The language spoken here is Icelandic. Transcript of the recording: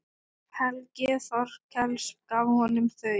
Helgi Þorkels gaf honum þau.